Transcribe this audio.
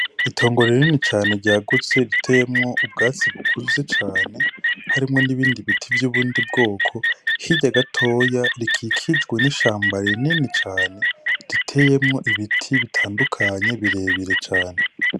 Itongo rinini cane ryagutse, riteyemwo ubwatsi bukuze cane, harimwo n'ibindi biti vy'ubundi bwoko, hirya gatoya rikikijwe n'ishamba rinini cane, riteyemwo ibiti bitandukanye birebire cane.